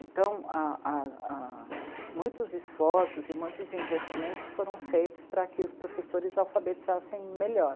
Então, a ,a ,a muitos esforços e muitos investimentos foram feitos para que os professores alfabetizassem melhor.